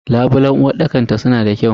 Labulen uwarɗakar ta suna da kyau.